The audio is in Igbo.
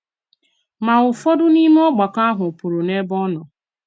Ma, ụfọdụ n’ime ògbàkọ ahụ pụrụ n’ebe ọ nọ.